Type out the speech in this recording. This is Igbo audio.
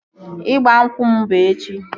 Ịgba nkwụ m bụ echi